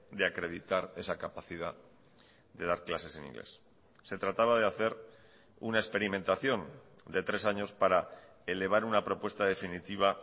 de acreditar esa capacidad de dar clases en inglés se trataba de hacer una experimentación de tres años para elevar una propuesta definitiva